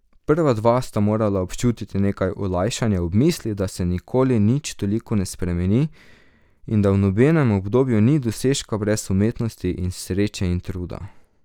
Prva dva sta morala občutiti nekaj olajšanja ob misli, da se nikoli nič toliko ne spremeni in da v nobenem obdobju ni dosežka brez umetnosti in sreče in truda.